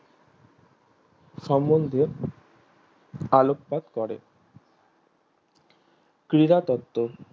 সমন্ধে ভালো কাজ করে ক্রীড়া তত্ত্ব